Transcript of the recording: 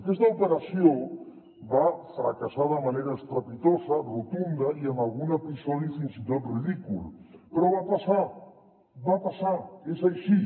aquesta operació va fra·cassar de manera estrepitosa rotunda i amb algun episodi fins i tot ridícul però va passar va passar és així